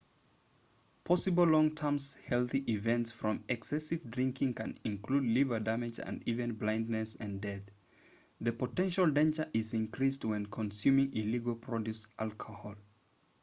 possible long term health events from excessive drinking can include liver damage and even blindness and death the potential danger is increased when consuming illegally produced alcohol